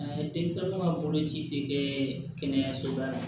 denmisɛnninw ka boloci tɛ kɛ kɛnɛyasoba la